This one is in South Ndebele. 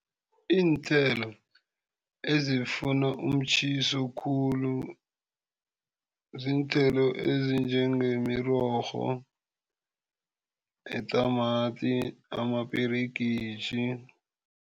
Iithelo ezifuna umtjhiso khulu ziinthelo ezinjengemirorho, itamati amaperegitjhi.